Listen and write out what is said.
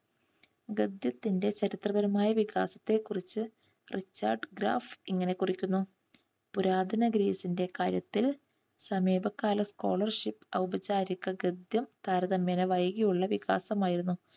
ഗദ്യത്തിന്റെ ചരിത്രപരമായ വികാസത്തെക്കുറിച്ച് ഒരു റിച്ചാർഡ് ഗ്രാഫ് ഇങ്ങനെ കുറിക്കുന്നു. പുരാതന ഗ്രീസിന്റെ കാര്യത്തിൽ സമീപകാല scholarship ഔപചാരിക ഗദ്യം താരതമ്യേനെ വൈകിയുള്ള വികാസം ആയിരുന്നു.